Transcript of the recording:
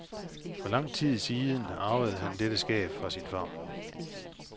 For lang tid siden arvede han dette skab fra sin farmor.